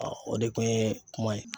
o de kun ye kuma ye.